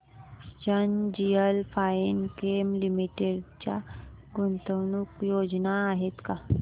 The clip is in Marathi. एनजीएल फाइनकेम लिमिटेड च्या गुंतवणूक योजना आहेत का